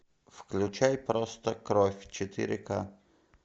включай просто кровь четыре к